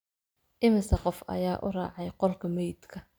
Immisa qof ayaa u raacay qolka meydka